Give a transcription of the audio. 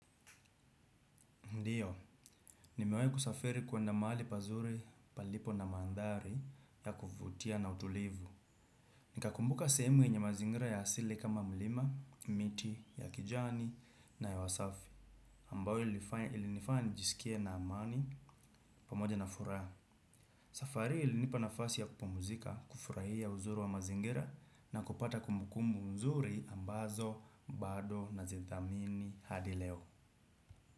Ndio, nimewahi kusafiri kuenda mahali pazuri palipo na mandhari ya kuvutia na utulivu. Nikakumbuka sehemu yenye mazingira ya asili kama mlima, miti ya kijani na hewa safi. Ambayo ilinifanya nijisikie na amani pamoja na furaha. Safari hii ilinipa nafasi ya kupumzika, kufurahia uzuri wa mazingira na kupata kumbukumbu nzuri ambazo, bado nazithamini hadi leo.